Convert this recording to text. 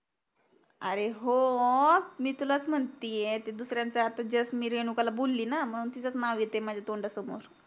अरे हो मी तुलाच म्हणतीये ते दुसऱ्याचं आता just मी रेणुकाला बोलि ना मंग तिजच नाव येतंय माझ्या तोंडा समोर